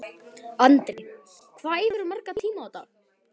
Andri: Hvað æfirðu marga tíma á dag?